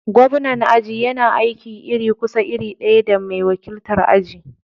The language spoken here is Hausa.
Gobnan aji yana aiki iri kusan iri ɗaya da mai wakiltar aji.